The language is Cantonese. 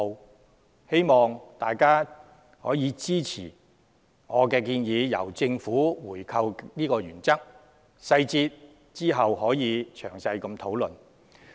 我希望大家支持這個由政府回購的原則，其他細節日後可再詳細討論。